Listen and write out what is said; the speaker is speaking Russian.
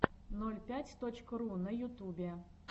ноль пять точка ру на ютубе